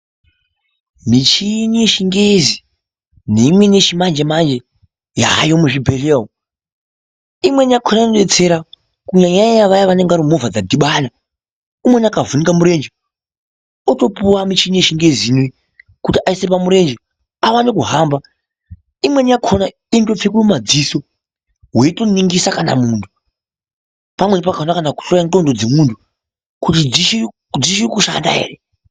Mishini yechingezi neimweni yechimanje manje yaayo muzvibhehlera umwu. Imweni yakona unoitsera umwu ,kunyanya nyanya vaya vanenge varimumovha dzadhibana .Umweni akavhinika mirenje ,otopuwa michini yechingeziyo kuti aise pamurenje awane kuhamba. Imweni yakona inotopfekwe mumadziso weitoningirisa kana muntu. Pamweni pakona kutohloya nxondo dzemuntu kuti dzichiri kushanda ere.